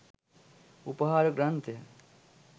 උපහාර ග්‍රන්ථය